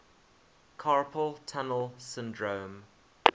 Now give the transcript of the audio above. carpal tunnel syndrome